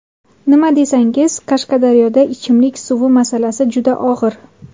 Nimaga desangiz, Qashqadaryoda ichimlik suvi masalasi juda og‘ir.